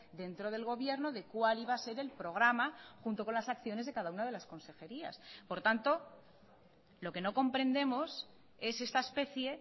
dentro del gobierno de cuál iba a ser el programa junto con las acciones de cada una de las consejerías por tanto lo que no comprendemos es esta especie